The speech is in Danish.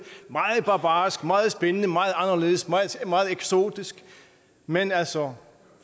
barbarisk meget spændende meget anderledes og meget eksotisk men altså